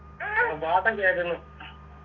കേക്കുന്ന്